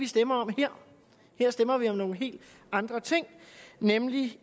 stemme om her stemmer vi om nogle helt andre ting nemlig